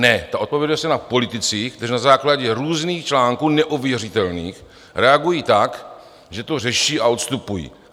Ne, ta odpovědnost je na politicích, kteří na základě různých článků - neověřitelných - reagují tak, že to řeší a odstupují.